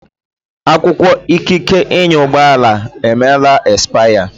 akwụkwọ ikike ịnya ụgbọ ala emeela expaya